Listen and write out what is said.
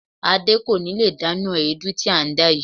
Adé kò ní lè dáná èédú tí à ń dá yìí.